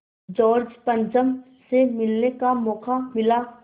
George पंचम से मिलने का मौक़ा मिला